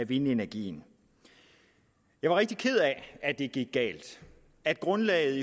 vindenergien jeg er rigtig ked af at det gik galt at grundlaget